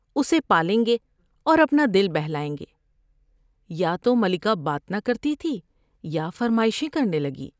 اسے پائیں گے اور اپنا دل بہلائیں گے '' یا تو ملکہ بات نہ کرتی تھی یا فرمائشیں کرنے لگی ۔